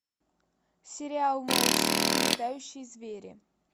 сериал малыши и летающие звери